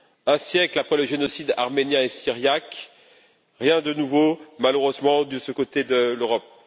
Un siècle après les génocides arménien et syriaque, rien de nouveau, malheureusement, de ce côté de l'Europe.